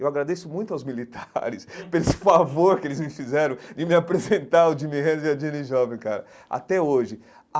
Eu agradeço muito aos militares por esse favor que eles me fizeram de me apresentar o Jimi Hendrix e a Janis Joplin, cara, até hoje.